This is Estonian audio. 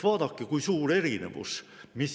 Vaadake, kui suur erinevus!